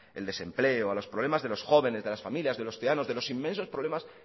el desempleo los problemas de los jóvenes de las familias de los ciudadanos de los inmensos problemas